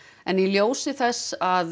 en í ljósi þess að